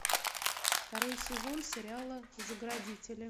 второй сезон сериала заградители